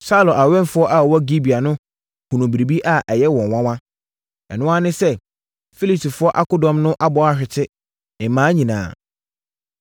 Saulo awɛmfoɔ a wɔwɔ Gibea no hunuu biribi a ɛyɛ wɔn nwanwa. Ɛno ara ne sɛ, Filistifoɔ akodɔm no abɔ ahwete mmaa nyinaa.